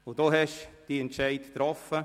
Sie haben Ihren Entscheid getroffen.